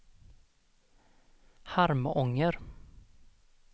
Harmånger